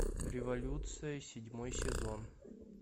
революция седьмой сезон